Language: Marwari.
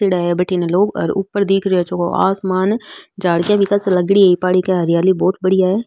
बढीने लोग और ऊपर दिख रहो जको है आसमान झाडिया भी खासी लागेडी इ पहाड़ी के हरियाली बहुत बढ़िया है।